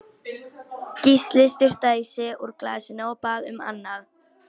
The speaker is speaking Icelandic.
Gísli sturtaði í sig úr glasinu, og bað um annað.